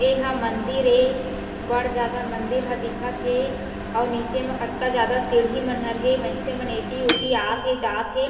एहा मंदिर ए बड़ जादा मंदिर ह दिखत हे अउ निचे म कतका ज्यादा सीढ़ी मन हर हे मइनसे मन ह एति ओती आत हे जात हे।